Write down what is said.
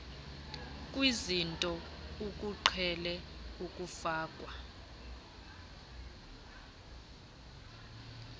kwizinto ekuqhele ukufakwa